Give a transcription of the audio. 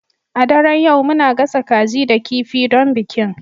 A daren yau muna gasa kaji da kifi don bikin